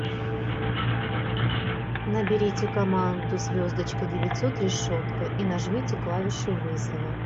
наберите команду звездочка девятьсот решетка и нажмите клавишу вызова